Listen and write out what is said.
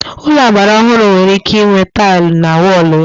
Ụlọ agbara ọhụrụ nwere ike inwe tailụ na wọlụ ya